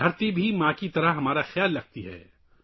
دھرتی بھی ماں کی طرح ہمارا خیال رکھتی ہے